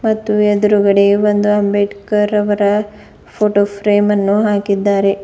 ಮತ್ತು ಎದ್ರುಗಡೆ ಒಂದು ಅಂಬೇಡ್ಕರ್ ಅವರ ಫೋಟೋ ಫ್ರೇಮ್ ಅನ್ನು ಹಾಕಿದ್ದಾರೆ.